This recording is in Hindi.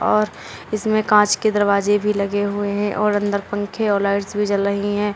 और इसमें कांच के दरवाजे भी लगे हुए हैं और अंदर पंखे और लाइट्स भी जल रही हैं।